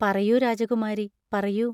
പറയൂ രാജകുമാരി, പറയൂ.